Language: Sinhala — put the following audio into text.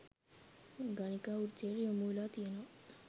ගණිකා වෘත්තියට යොමු වෙලා තියෙනව.